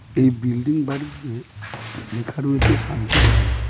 এই বিল্ডিং বাড়িতে লেখা রয়েছে শান্তিধাম.